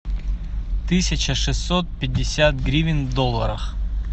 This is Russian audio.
тысяча шестьсот пятьдесят гривен в долларах